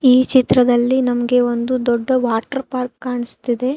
ಈ ಚಿತ್ರದಲ್ಲಿ ನಮಗೆ ಒಂದು ದೊಡ್ಡ ವಾಟರ್ ಪಾರ್ಕ್ ಕಾಣಿಸ್ತಿದೆ.